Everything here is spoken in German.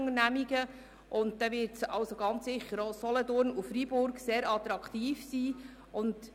Auch Solothurn und Freiburg werden sicher sehr attraktiv sein.